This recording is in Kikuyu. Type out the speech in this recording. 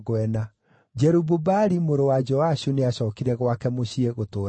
Jerubu-Baali mũrũ wa Joashu nĩacookire gwake mũciĩ gũtũũra kuo.